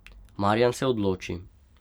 Marjan se odloči.